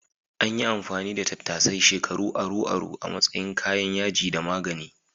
An yi amfani da tattasai shekaru aru-aru a matsayin kayan yaji da magani.